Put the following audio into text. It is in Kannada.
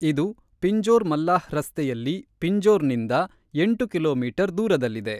ಇದು ಪಿಂಜೋರ್-ಮಲ್ಲಾಹ್ ರಸ್ತೆಯಲ್ಲಿ ಪಿಂಜೋರ್‌ನಿಂದ ಎಂಟು ಕಿಲೋಮೀಟರ್ ದೂರದಲ್ಲಿದೆ.